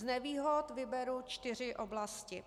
Z nevýhod vyberu čtyři oblasti.